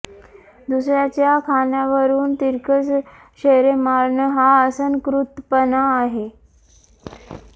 दुसर्याच्या खाण्यावरून तिरकस शेरे मारणं हा असंस्कृतपणा आहे